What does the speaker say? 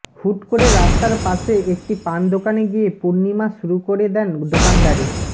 হুট করে রাস্তার পাশে একটি পান দোকানে গিয়ে পূর্ণিমা শুরু করে দেন দোকানদারি